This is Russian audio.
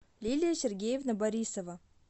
лилия сергеевна борисова